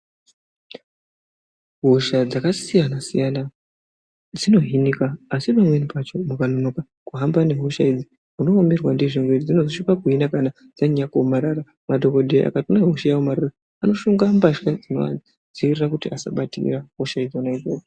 Hosha dzakasiyana siyana dzinohinika asi pamweni pacho wakanonoka kuhamba nehosha idzi unoomerwa ndizvo miri dzinozosvika pakuhina pakuomarara madhokoteya anoshonga mbahla dzinoita kuti asabatirira hosha dzina idzodzo .